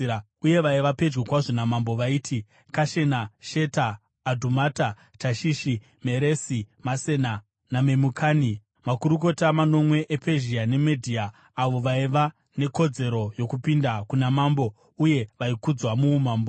uye vaiva pedyo kwazvo namambo vaiti: Kashena, Sheta, Adhumata, Tashishi, Meresi, Masena naMemukani, makurukota manomwe ePezhia neMedhia avo vaiva nekodzero yokupinda kuna mambo uye vaikudzwa muumambo.